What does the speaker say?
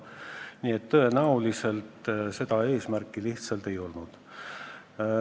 Nii et tõenäoliselt seda eesmärki lihtsalt ei olnud.